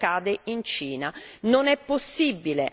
Per non parlare di quello che accade in Cina.